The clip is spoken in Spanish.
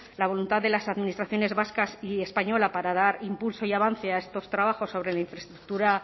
la voluntad de las administraciones vascas y española para dar impulso y avance a estos trabajos sobre la infraestructura